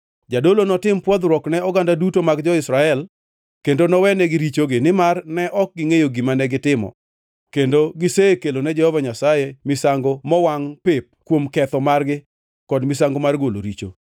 Jadolo notim pwodhoruok ne oganda duto mag jo-Israel, kendo nowenegi richogi, nimar ne ok gingʼeyo gima negitimo kendo gisekelone Jehova Nyasaye misango mowangʼ pep kuom ketho margi kod misango mar golo richo.